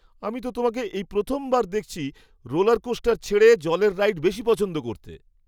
আমি তো তোমাকে এই প্রথমবার দেখছি রোলারকোস্টার ছেড়ে জলের রাইড বেশি পছন্দ করতে!